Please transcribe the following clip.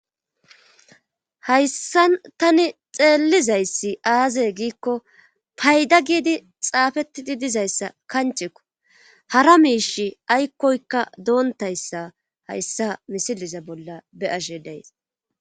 hayssa tani xeellizayssi aaze giikko payda giidi xaafettidi dizayssa kanchekko hara miish aykkoykka doontayssa hayssa misiliza bolla be7ashe days